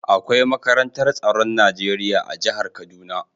Akwai makarantar tsaron Najeriya a jihar kaduna.